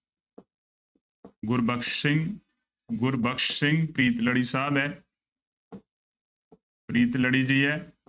ਗੁਰਬਖਸ ਸਿੰਘ, ਗੁਰਬਖਸ ਸਿੰਘ ਪ੍ਰੀਤਲੜੀ ਸਾਹਬ ਹੈ ਪ੍ਰੀਤਲੜੀ ਦੀ ਹੈ।